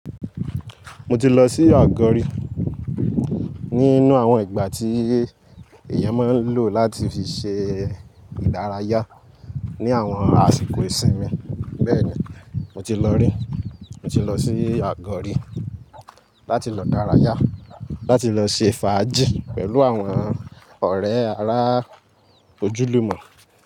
Mo ti lọ sí Àgọ́ri nínú àwọn ìgbà tí èèyàn máa ń lò láti fi ṣe ìdárayá ní àwọn àsìkò ìsinmi. Bẹ́ẹ̀ni, mo ti lọ rí, mo ti lọ sí Àgọ́ri láti lọ dárayá, láti lọ ṣe fàájì pẹ̀lú àwọn ọ̀rẹ́ ará ojúlùmọ̀